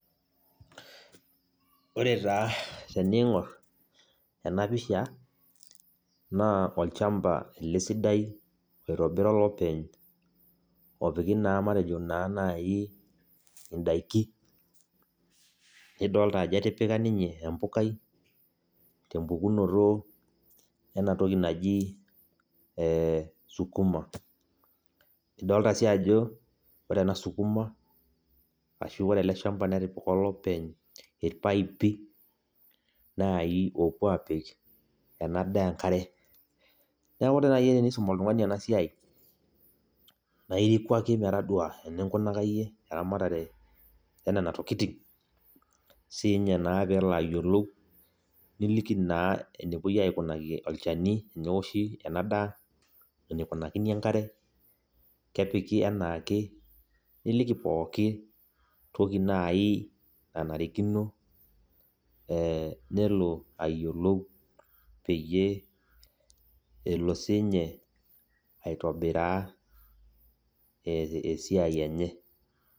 Ore taa teneing'or ena pisha naa olchamba ele sidai oitabira olopeny oopiki naa matejo naaji indaki nidolita ajo etipika ninye embukai tinkoitoi naaji ee sukuma nidolita sii ajo ore ena sukuma ashuu ore ele shamba netipika olopeny irpaipi oopuo aapik ele shamba enkare neeku ore naaji tenisum oltung'ani ene siai naa iriku ake metodua eninkunaka iyie nenatokit peelo ayiolou niliki naa enepuio aikunaki olchani teneoshi ena daai eneikunakini enkere niliki pookin naai nanarikino nelo ayiolou peyie elo siininye aitobiraa esiai enye.